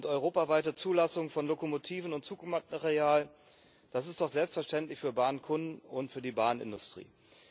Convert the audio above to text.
Europaweite Zulassung von Lokomotiven und Zugmaterial das ist doch selbstverständlich für Bahnkunden und für die Bahnindustrie.